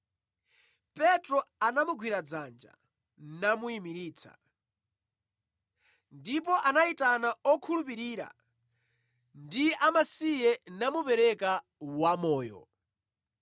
Petro anamugwira dzanja, namuyimiritsa. Ndipo anayitana okhulupirira ndi amasiye namupereka wamoyo.